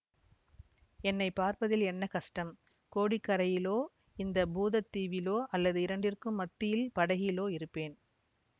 என்னை பார்ப்பதில் என்ன கஷ்டம் கோடிக்கரையிலோ இந்த பூதத் தீவிலோ அல்லது இரண்டிற்கும் மத்தியில் படகிலோ இருப்பேன்